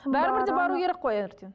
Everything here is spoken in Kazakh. бәрібір де бару керек қой ертең